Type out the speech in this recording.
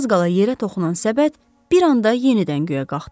Az qala yerə toxunan səbət bir anda yenidən göyə qalxdı.